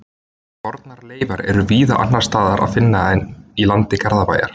Fornar leifar er víða annars staðar að finna í landi Garðabæjar.